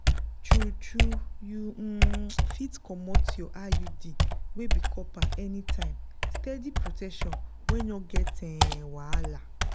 true-true you um fit comot your iud wey be copper anytime steady protection wey no get um wahala.